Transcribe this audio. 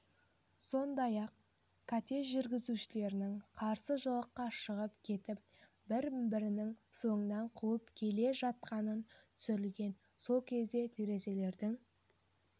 сондай-ақ кортеж жүргізушілерінің қарсы жолаққа шығып кетіп бір-бірінің соңынан қуып келе жатқаны түсірілген сол кезде терезелердің